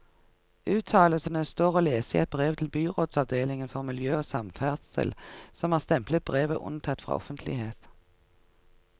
Uttalelsene står å lese i et brev til byrådsavdelingen for miljø og samferdsel, som har stemplet brevet unntatt fra offentlighet.